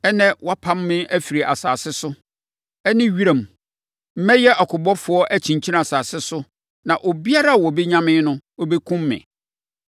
Ɛnnɛ, woapam me afiri asase so ne wʼanim. Mɛyɛ ɔkobɔfoɔ akyinkyin asase so na obiara a ɔbɛnya me no bɛkum me.”